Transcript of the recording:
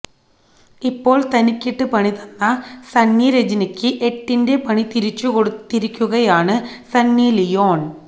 ഇപ്പോള് തനിക്കിട്ട് പണി തന്ന സണ്ണി രജനിക്ക് എട്ടിന്റെ പണി തിരിച്ചു കൊടുത്തിരിക്കുകയാണ് സണ്ണി ലിയോണ്